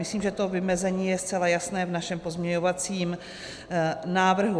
Myslím, že to vymezení je zcela jasné v našem pozměňovacím návrhu.